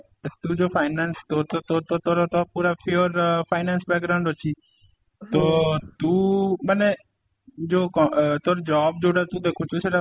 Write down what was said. ତୁ ଯୋଉ finance ତୋର ତ ତୋର ତ ତୋ ତୋର ତ ପୁରା sure ଅ finance ଅଛି ତ ତୁ ମାନେ ଯୋଉ ତୋର job ଯୋଉଟା ତୁ ଦେଖୁଚୁ ସେଇଟା